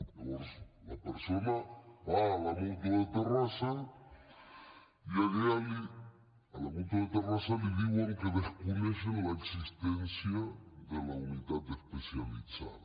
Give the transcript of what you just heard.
llavors la persona va a la mútua de terrassa i a la mútua de terrassa li diuen que desconeixen l’existència de la unitat especialitzada